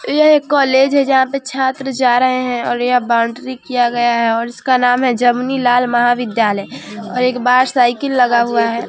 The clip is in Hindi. यह एक कॉलेज है जहाँ पे छात्र जा रहे है और यह बाउंड्री किया गया है और इसका नाम है जम्नीलाल महाविद्यालय और एक बाहर साइकिल लगा हुआ है ।